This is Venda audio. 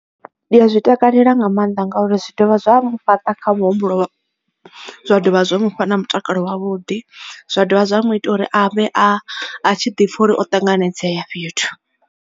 Ndi a zwi takalela nga maanḓa ngauri zwi dovha zwa mfhaṱa kha muhumbulo zwa dovha zwa mu fha na mutakalo wavhuḓi zwa dovha zwa mu ita uri a vhe a tshi ḓi pfha uri o ṱanganedzea fhethu.